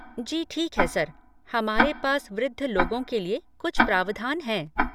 जी ठीक है सर, हमारे पास वृद्ध लोगों के लिए कुछ प्रावधान हैं।